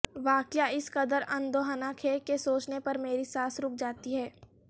واقعہ اس قدر اندوہناک ہے کہ سوچنے پر میری سانس رک جاتی ہے